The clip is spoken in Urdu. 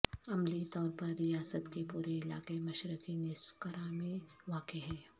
عملی طور پر ریاست کے پورے علاقے مشرقی نصف کرہ میں واقع ہے